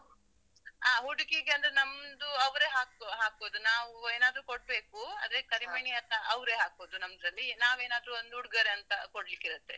ಹಾ ಹುಡ್ಗಿಗಂದ್ರೆ ನಮ್ದು ಅವ್ರೇ ಹಾಕು ಹಾಕುದು ನಾವ್ ಏನ್ ಆದ್ರು ಕೋಡ್ಬೇಕು. ಆದ್ರೆ ಕರಿಮಣಿ ಎಲ್ಲಾ ಅವ್ರೇ ಹಾಕುದು ನಮ್ದ್ರಲ್ಲಿ. ನಾವ್ ಏನಾದ್ರು ಒಂದ್ ಉಡ್ಗೊರೆ ಅಂತ ಕೊಡ್ಲಿಕ್ಕಿರತ್ತೆ.